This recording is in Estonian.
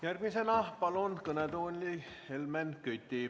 Järgmisena palun kõnetooli Helmen Küti.